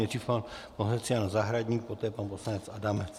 Nejdřív pan poslanec Jan Zahradník, poté pan poslanec Adamec.